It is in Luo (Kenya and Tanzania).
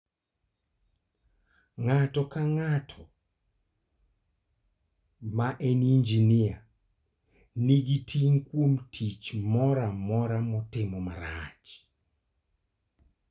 Ng'ato ka ng'ato ma en injinia nigi ting' kuom tich moro amora motimo marach.